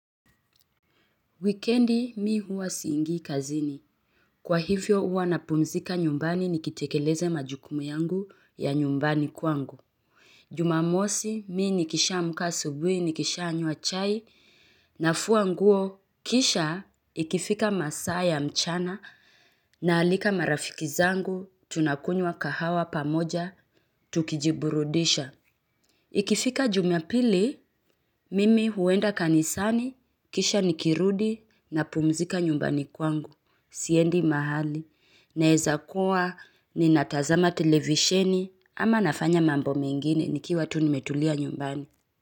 Wikiendi mi huwa siingii kazini. Kwa hivyo huwa na pumzika nyumbani nikitekeleze majukumu yangu ya nyumbani kwangu. Jumamosi mi nikisha amka asubuhi nikisha nywa chai nafua nguo kisha ikifika masaa mchana na alika marafiki zangu tuna kunya kahawa pamoja tukijiburudisha. Kanisani kisha nikirudi napumzika nyumbani kwangu siendi mahali naweza kuwa ni natazama televisheni ama nafanya mambo mengine nikiwa tu nimetulia nyumbani.